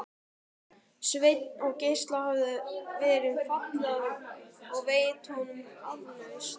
Sveins, en Gísla hafði verið falið að veita honum aflausn.